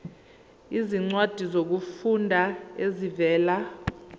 izincwadi zokufunda ezivela